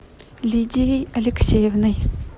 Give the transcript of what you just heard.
лидией алексеевной